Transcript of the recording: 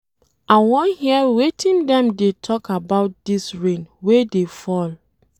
I wan hear wetin dem dey talk about dis rain wey dey fall.